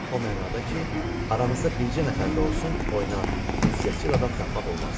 O mənada ki, aramızda bircə nəfər də olsun oynaq, ünsiyyətçil adam tapmaq olmazdı.